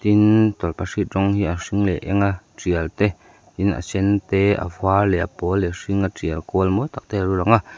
tin tawlhpahrit rawng hi a hring leh eng a tial te tin a sen te a var leh pawl leh a hring a tial kual mawi tak te a lo lang a.